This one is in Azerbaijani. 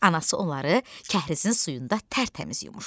Anası onları kəhrizin suyunda tərtəmiz yumuşdu.